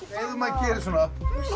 ef maður gerir svona